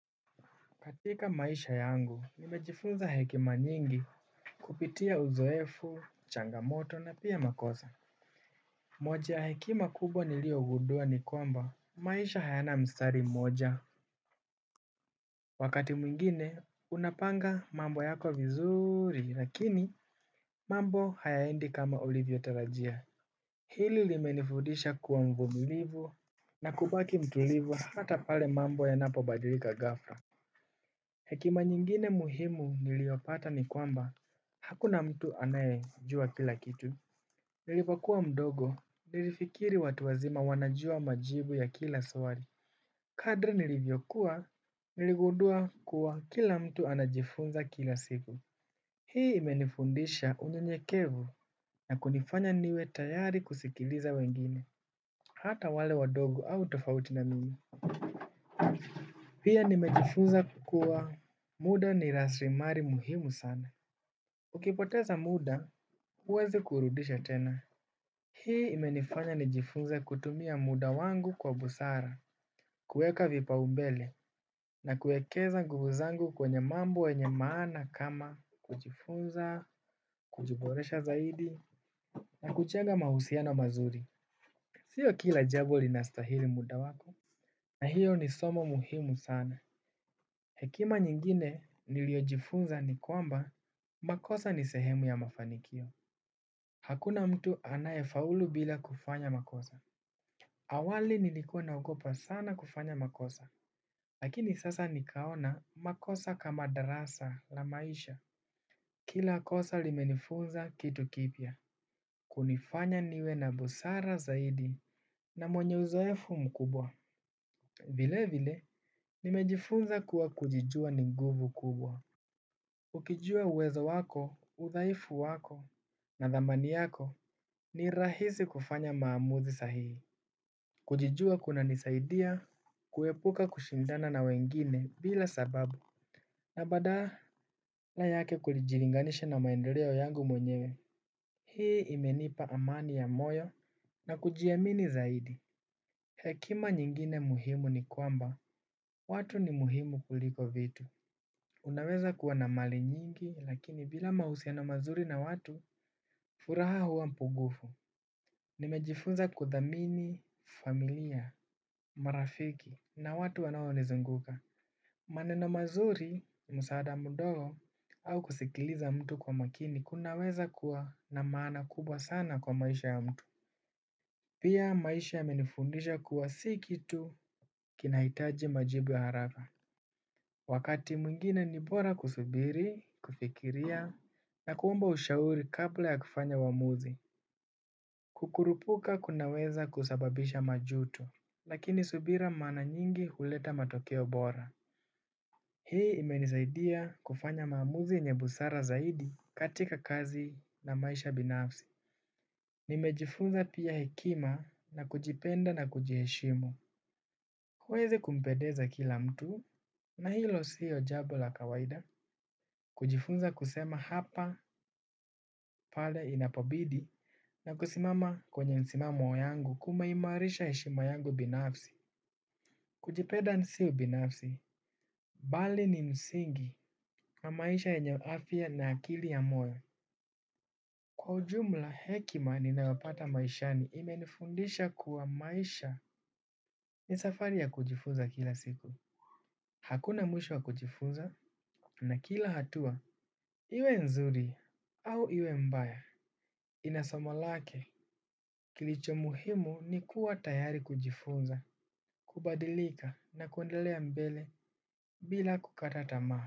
Katika maisha yangu nimejifunza hekima nyingi. Kupitia uzoefu, changamoto na pia makosa moja ya hekima kubwa niliogudua ni kwamba maisha hayana mstari mmoja. Wakati mwingine unapanga mambo yako vizuri lakini mambo hayaendi kama ulivyotalajia. Hili limenifudisha kuwa mvumilivu na kubaki mtulivu hata pale mambo yanapobadilika ghafla. Hekima nyingine muhimu niliopata ni kwamba, hakuna mtu anayejua kila kitu. Nilipokua mdogo, nilifikiri watu wazima wanajua majibu ya kila swali. Kadri nilivyokua, niligudua kuwa kila mtu anajifunza kila siku. Hii imenifundisha unyenyekevu na kunifanya niwe tayari kusikiliza wengine, hata wale wadogo au tofauti na mimi. Pia nimejifunza kuwa muda ni raslimali muhimu sana ukipoteza muda huwezi kuurudisha tena. Hii imenifanya nijifunze kutumia muda wangu kwa busara. Kueka vipaumbele, na kuekeza nguvu zangu kwenye mambo yenye maana kama kujifunza, kujiboresha zaidi, na kuchenga mahusiano mazuri. Sio kila jambo linastahili muda wako na hiyo ni somo muhimu sana. Hekima nyingine niliojifunza ni kwamba makosa ni sehemu ya mafanikio. Hakuna mtu anayefaulu bila kufanya makosa. Awali nilikuwa naogopa sana kufanya makosa. Lakini sasa nikaona makosa kama darasa la maisha. Kila kosa limenifunza kitu kipya. Kunifanya niwe na busara zaidi na mwenye uzoefu mkubwa. Vile vile nimejifunza kuwa kujijua ni nguvu kubwa. Ukijua uwezo wako udhaifu wako na dhamani yako ni rahisi kufanya uamuzi sahihi. Kujijua kunanisaidia, kuepuka kushindana na wengine bila sababu na badaa la yake kujilinganishi na maendeleo yangu mwenyewe. Hii imenipa amani ya moyo na kujiamini zaidi. Hekima nyingine muhimu ni kwamba watu ni muhimu kuliko vitu. Unaweza kuwa na mali nyingi lakini bila mahusiano mazuri na watu furaha huwa mpugufu. Nimejifunza kudhamini, familia, marafiki na watu wanaonizunguka. Maneno mazuri msaada mdogo au kusikiliza mtu kwa makini kunaweza kuwa na maana kubwa sana kwa maisha ya mtu. Pia maisha yamenifundisha kuwa si kitu kinahitaji majibu ya haraka. Wakati mwingine ni bora kusubiri, kufikiria, na kuomba ushauri kabla ya kufanya uamuzi. Kukurupuka kunaweza kusababisha majuto. Lakini subira mara nyingi kuleta matokeo bora. Hii imenisaidia kufanya maamuzi yenye busara zaidi katika kazi na maisha binafsi. Nimejifunza pia hekima na kujipenda na kujiheshimu uweze kumpedeza kila mtu na hilo siyo jambo la kawaida. Kujifunza kusema hapa pale inapobidi na kusimama kwenye msimamo yangu kumeimarisha heshima yangu binafsi. Kujipenda sio binafsi bali ni msingi na maisha yenye afya na akili ya moyo. Kwa ujumla hekima ninaopata maishani imenifundisha kuwa maisha ni safari ya kujifunza kila siku. Hakuna mwisho wa kujifunza na kila hatua iwe nzuri au iwe mbaya ina somo lake. Kilicho muhimu ni kuwa tayari kujifunza, kubadilika na kuendelea mbele bila kukatata tamaa.